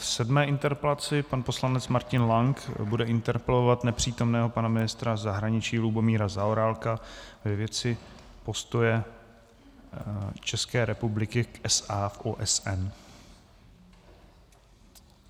V sedmé interpelaci pan poslanec Martin Lank bude interpelovat nepřítomného pana ministra zahraničí Lubomíra Zaorálka ve věci postoje České republiky k SA v OSN.